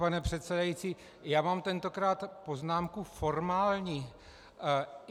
Pane předsedající, já mám tentokrát poznámku formální.